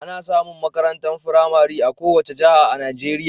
Ana samun makarantar firamare a kowace jiha a Najeriya.